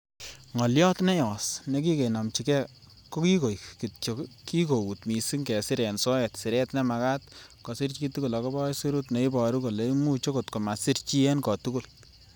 Ngolyot neyos nekikenomchige ko kiigoik kityok, kikout missing kesir en soet siret nemakat kosir chitugul agobo aisurut, neiboru kole imuch okot komasir chi en kotogul.